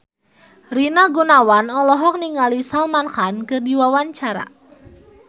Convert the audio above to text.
Rina Gunawan olohok ningali Salman Khan keur diwawancara